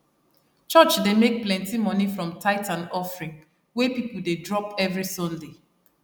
church dey make plenty money from tithes and offering wey people dey drop every sunday